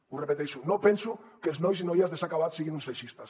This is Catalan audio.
ho repeteixo no penso que els nois i noies de s’ha acabat siguin uns feixistes